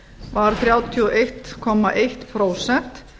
var þrjátíu og einn komma eitt prósent